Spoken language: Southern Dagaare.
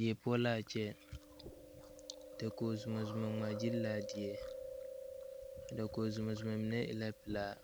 Die poɔ laa kyɛ dakog zumɔzumɔ ngmaagyile laa die a dakog zumɔzumɔ mine e la pilaa